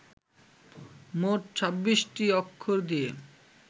মোট ছাব্বিশটি অক্ষর দিয়ে